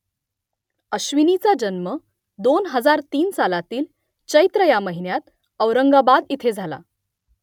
अश्विनीचा जन्म दोन हजार तीन सालातील चैत्र ह्या महिन्यात औरंगाबाद इथे झाला